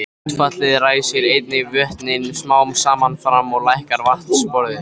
Útfallið ræsir einnig vötnin smám saman fram og lækkar vatnsborðið.